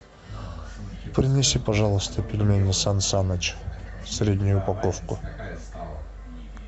принеси пожалуйста пельмени сан саныч среднюю упаковку